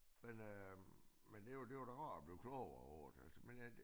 Men øh men det var det var da rart at blive klogere over det men øh det